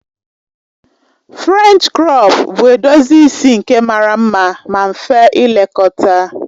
Frènchi krọp bụ edozi isi nke mara mma ma mfe ilekọta